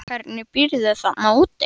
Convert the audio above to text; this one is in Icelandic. Hvernig býrðu þarna úti?